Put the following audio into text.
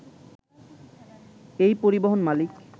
এই পরিবহন মালিক